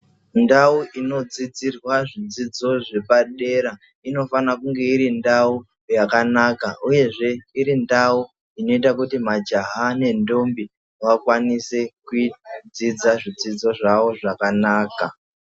Ndau inodzidzirwa zvidzidzo zvepadera inofana kunge iri ndau yakanaka uyezve iri ndau inoita kuti majaha nendombi vakwanise kuidzidza zvidzidzo zvawo zvakanaka.